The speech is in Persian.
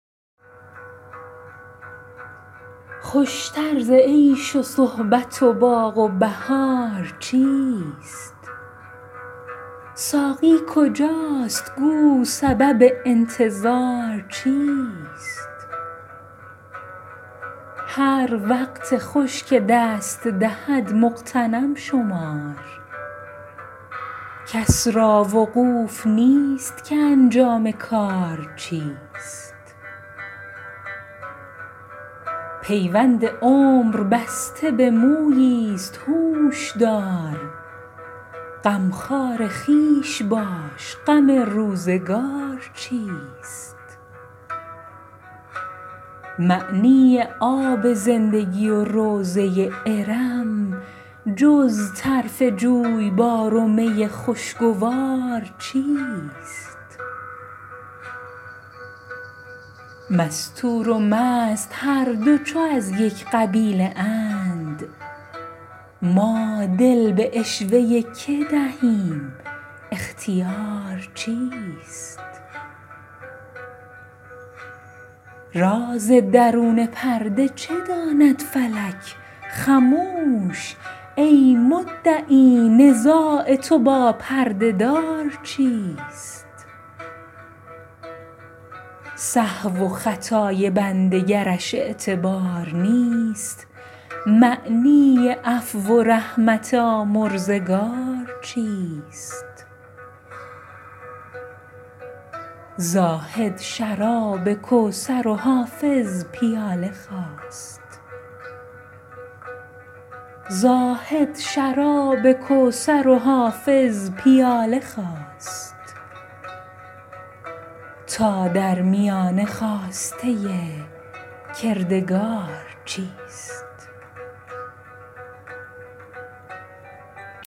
خوش تر ز عیش و صحبت و باغ و بهار چیست ساقی کجاست گو سبب انتظار چیست هر وقت خوش که دست دهد مغتنم شمار کس را وقوف نیست که انجام کار چیست پیوند عمر بسته به مویی ست هوش دار غمخوار خویش باش غم روزگار چیست معنی آب زندگی و روضه ارم جز طرف جویبار و می خوشگوار چیست مستور و مست هر دو چو از یک قبیله اند ما دل به عشوه که دهیم اختیار چیست راز درون پرده چه داند فلک خموش ای مدعی نزاع تو با پرده دار چیست سهو و خطای بنده گرش اعتبار نیست معنی عفو و رحمت آمرزگار چیست زاهد شراب کوثر و حافظ پیاله خواست تا در میانه خواسته کردگار چیست